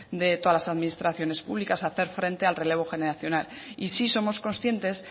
de todas las administraciones públicas hacer frente al relevo generacional y sí somos conscientes